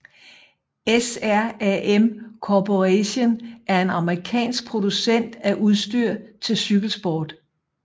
SRAM Corporation er en amerikansk producent af udstyr til cykelsport